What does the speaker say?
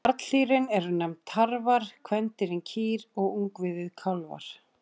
Karldýrin eru nefnd tarfar, kvendýrin kýr og ungviðið kálfar.